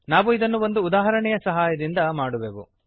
ನಾವು ಇದನ್ನು ಒಂದು ಉದಾಹರಣೆಯ ಸಹಾಯದಿಂದ ಮಾಡುವೆವು